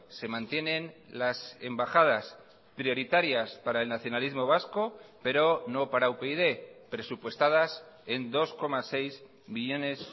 se mantienen las embajadas prioritarias para el nacionalismo vasco pero no para upyd presupuestadas en dos coma seis millónes